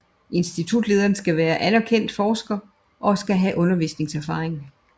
Institutlederen skal være anerkendt forsker og skal have undervisningserfaring